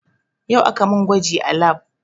Yau aka mun gwaji a lab